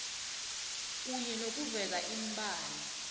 kunye nokuveza iimbalo